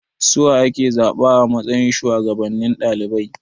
Suwa ake zaba a matsayin shuwagabannin ɗalibai?